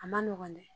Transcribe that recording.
A ma nɔgɔn dɛ